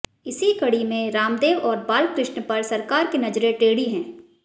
इसी कड़ी में रामदेव और बालकृष्ण पर सरकार की नजरें टेढ़ी हैं